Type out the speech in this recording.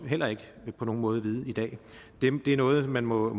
heller ikke på nogen måde vide i dag det er noget man må